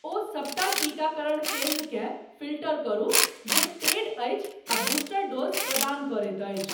ओ सबटा टीकाकरण केन्द्रकेँ फ़िल्टर करु जे पेड अछि आ बूस्टर डोज़ प्रदान करैत अछि।